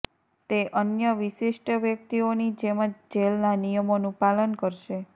તે અન્ય વિશિષ્ટ વ્યક્તિઓની જેમ જ જેલના નિયમોનુ પાલન કરશે